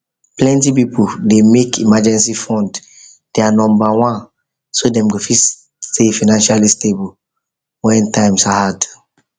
plenty people dey make emergency fund their number one so dem go fit stay financially stable when times hard